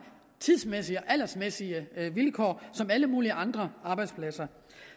tidsmæssige og aldersmæssige vilkår som på alle mulige andre arbejdspladser